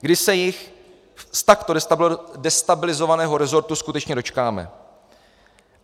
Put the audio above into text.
Kdy se jich z takto destabilizovaného rezortu skutečně dočkáme?